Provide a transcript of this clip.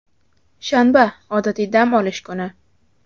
shanba – odatiy dam olish kuni.